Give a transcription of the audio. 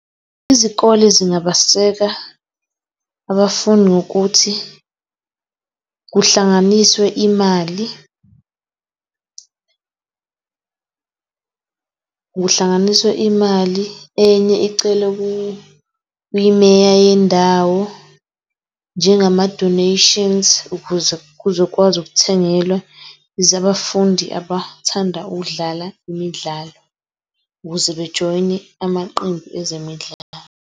Izikole zingabaseka abafuni ngokuthi kuhlanganiswe imali . Kuhlanganiswe imali enye icelwe ku kwi-Mayor yendawo njengama donations ukuze kuzokwazi ukuthengelwa abafundi abathanda ukudlala imidlalo ukuze bejoyune amaqembu ezemidlalo.